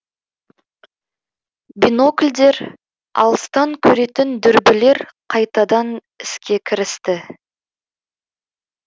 бинокльдер алыстан көретін дүрбілер қайтадан іске кірісті